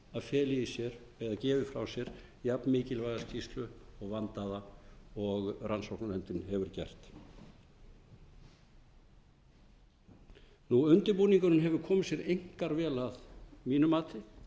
gefi frá sér jafn mikilvæga skýrslu og vandaða og rannsóknarnefndin hefur gert undirbúningurinn hefur komið sér einkar vel að mínu mati